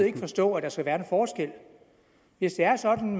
ikke forstå at der skal være en forskel hvis det er sådan